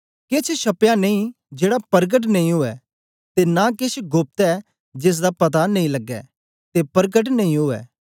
केछ छपया नेई जेड़ा परकट नेई ऊऐ ते नां केछ गोप्त ऐ जेसदा पता नेई लगे ते परकट नेई ऊऐ